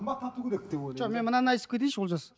жоқ мен мынаны айтып кетейінші олжас